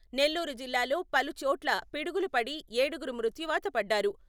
నెల్లూరు జిల్లాలో పలుచోట్ల పిడుగులు పడి ఏడుగురు మృత్యువాత పడ్డారు.